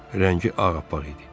Rəngi ağappaq idi.